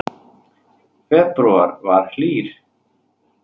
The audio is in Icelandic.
Febrúar var hlýr